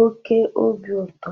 oke obi ụtọ.